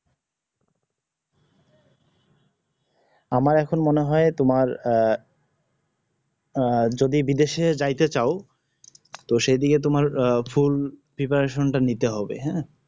আমার এখন মনে হয় তোমার আহ আহ যদি বিদেশ এ যাইতে চাও ত সেদিকে তোমার আহ ফুল preparation টা নিতে হবে হ্যাঁ